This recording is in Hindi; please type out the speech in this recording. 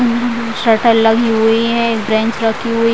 सटर लगी हुई है बेंच रखी हुई --